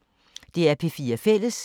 DR P4 Fælles